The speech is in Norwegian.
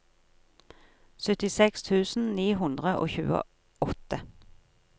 syttiseks tusen ni hundre og tjueåtte